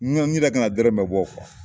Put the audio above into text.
n yɛrɛ kan ka dɔrɛrɛ bɔ !